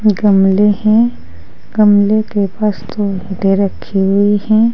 गमले हैं गमले के पास दो ईंटें रखी हुई हैं।